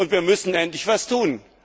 Wir müssen endlich etwas tun.